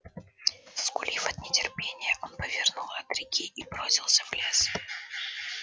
заскулив от нетерпения он повернул от реки и бросился в лес